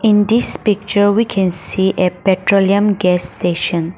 in this picture we can see a petroleum gas station.